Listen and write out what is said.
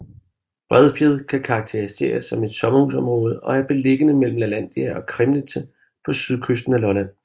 Bredfjed kan karakteriseres som et sommerhusområde og er beliggende mellem Lalandia og Kramnitze på sydkysten af Lolland